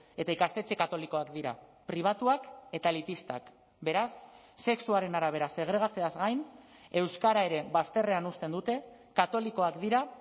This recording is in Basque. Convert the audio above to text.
eta ikastetxe katolikoak dira pribatuak eta elitistak beraz sexuaren arabera segregatzeaz gain euskara ere bazterrean uzten dute katolikoak dira